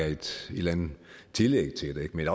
et eller andet tillæg til det men